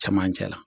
Cɛmancɛ la